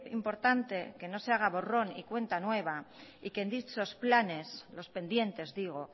importante que no se haga borrón y cuenta nueva y que en dichos planes los pendientes digo